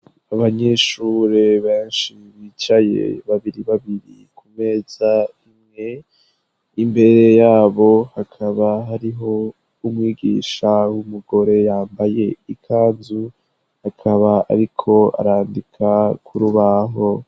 Abanyeshure benshi bicaye babiri babiri ku meza imwe, imbere yabo hakaba hariho umwigisha w'umugore yambaye ikanzu, akaba ariko arandika ku rubaho.